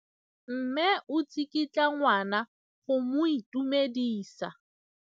Mme o tsikitla ngwana go mo itumedisa.